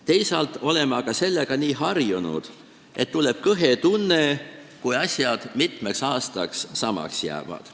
Teisalt oleme aga sellega nii harjunud, et tuleb kõhe tunne, kui asjad mitmeks aastaks samaks jäävad.